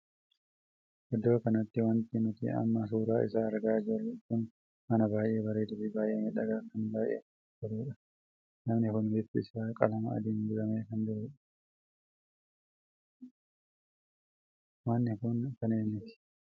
Iddoo kanatti wanti nuti amma suuraa isaa argaa jirru kun mana baay'ee bareedaa fi baay'ee miidhagaa kan baay'ee namatti toluudha. namni kun bifti isaa qalama adiin dibamee kan jirudha. manni kun kan eenyuti?